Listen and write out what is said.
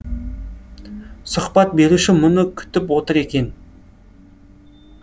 сұхбат беруші мұны күтіп отыр екен